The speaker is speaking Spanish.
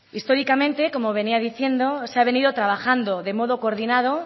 históricamente como venía diciendo se ha venido trabajando de modo coordinado